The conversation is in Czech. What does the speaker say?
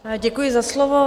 Děkuji za slovo.